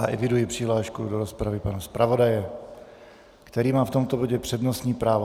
A eviduji přihlášku do rozpravy pana zpravodaje, který má v tomto bodě přednostní právo.